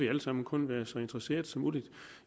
alle sammen kun være interesseret